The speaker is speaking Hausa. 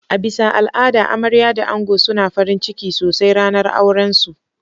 A bisa al'ada amarya da ango suna farinciki sosai ranar auran su.